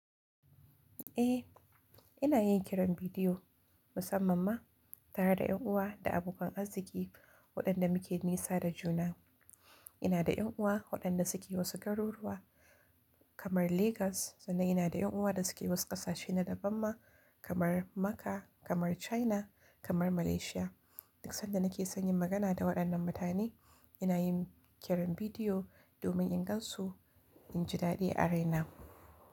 Ae inayin kiran bidiyo musamman ma tare da ƴan uwa da abokan arziki waƴanda muke nisa da juna. Ina da ƴan uwa waɗanda suke wasu garuruwa kamar Legas sannan inada ƴan uwa da suke wasu ƙasashe na daban ma kamar Makka, kamar China, kamar Malaysia. Duk sanda nake son yin magana da waɗannan mutane ina yin kiran bidiyo domin in gansu, inji daɗi a raina.